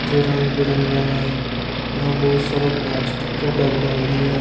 ये रंग बिरंगा है यहाँ बहुत सारा प्लास्टिक का डब्बा भी है।